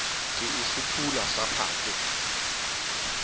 ke e fuphula sa phakwe